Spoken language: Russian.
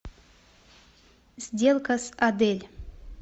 сделка с адель